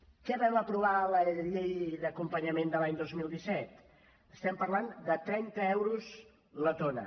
què vam aprovar a la llei d’acompanyament de l’any dos mil disset estem parlant de trenta euros la tona